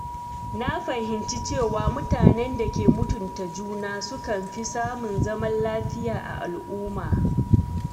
Na fahimci cewa mutanen da ke mutunta juna sukan fi samun zaman lafiya a al’umma.